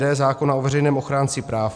d) zákona o veřejném ochránci práv.